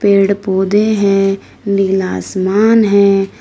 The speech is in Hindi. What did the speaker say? पेड़ पौधे हैं नीला आसमान है।